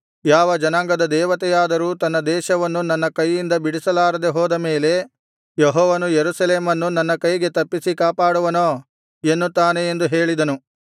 ಯಾವ ಜನಾಂಗದ ದೇವತೆಯಾದರೂ ತನ್ನ ದೇಶವನ್ನು ನನ್ನ ಕೈಯಿಂದ ಬಿಡಿಸಲಾರದೆ ಹೋದ ಮೇಲೆ ಯೆಹೋವನು ಯೆರೂಸಲೇಮನ್ನು ನನ್ನ ಕೈಗೆ ತಪ್ಪಿಸಿ ಕಾಪಾಡುವನೋ ಎನ್ನುತ್ತಾನೆ ಎಂದು ಹೇಳಿದನು